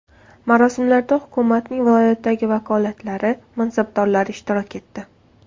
Marosimlarda hukumatning viloyatdagi vakolatlari mansabdorlari ishtirok etdi.